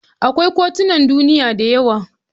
Akwai kotunan duniya da yawa.